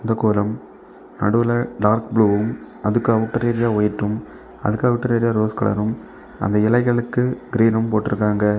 கோலம் நடுவுல டார்க்ப்ளூவும் அதுக்கு அவுட்ரேரியா வைட்டும் அதுக்கு அவுட்டர் ஏரியா ஒரு கலரும் அந்த இலைகளுக்கு க்ரீனும் போட்ருக்காங்க.